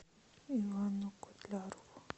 ивану котлярову